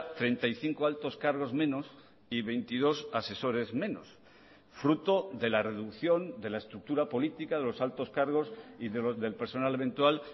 treinta y cinco altos cargos menos y veintidós asesores menos fruto de la reducción de la estructura política de los altos cargos y del personal eventual